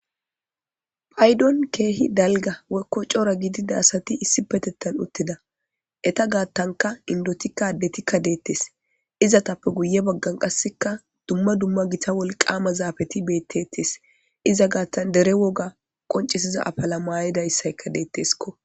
payddon ke'hi dalgga woykko cora gididda asati issifetettan uttida etta gattankka indettikka adetikka detees izatappe guye baggan qassekka dumma dumma gitta wolqama zafatti betettees iza gattan dere wogga qoncissiiza afalla mayidayissaykka dettesskko